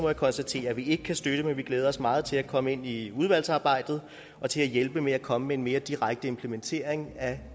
jeg konstatere at vi ikke kan støtte det men vi glæder os meget til at komme ind i udvalgsarbejdet og til at hjælpe med at komme med en mere direkte implementering af